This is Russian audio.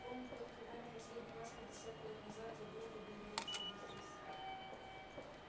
комнату открывали последний раз пятьдесят лет назад задолго до его учёбы здесь